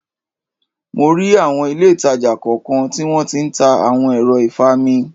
Mo rí awọn ilé ìtàjà kọ̀ọ̀kan tí wón tí ń ta awon ẹ̀rọ ìfami.